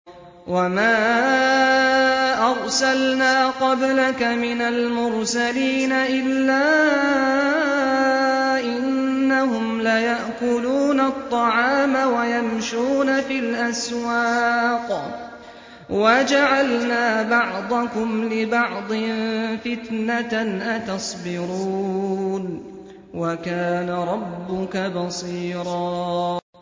وَمَا أَرْسَلْنَا قَبْلَكَ مِنَ الْمُرْسَلِينَ إِلَّا إِنَّهُمْ لَيَأْكُلُونَ الطَّعَامَ وَيَمْشُونَ فِي الْأَسْوَاقِ ۗ وَجَعَلْنَا بَعْضَكُمْ لِبَعْضٍ فِتْنَةً أَتَصْبِرُونَ ۗ وَكَانَ رَبُّكَ بَصِيرًا